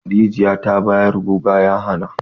Rijiya ta bayar guga ya hana.